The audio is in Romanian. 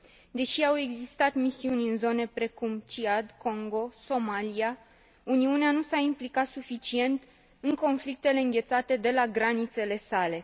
Deși au existat misiuni în zone precum Ciad, Congo, Somalia, Uniunea nu s a implicat suficient în conflictele înghețate de la granițele sale.